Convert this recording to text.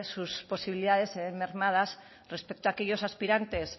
sus posibilidades se ven mermadas respecto a aquellos aspirantes